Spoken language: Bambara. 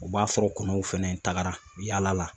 U b'a sɔrɔ kɔnɔw fɛnɛ tagara yaala la